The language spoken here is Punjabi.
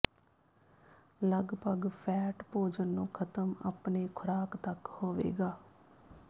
ਲੱਗਭਗ ਫ਼ੈਟ ਭੋਜਨ ਨੂੰ ਖਤਮ ਆਪਣੇ ਖੁਰਾਕ ਤੱਕ ਹੋਵੇਗਾ